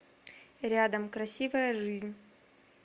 рядом красивая жизнь